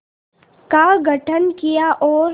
का गठन किया और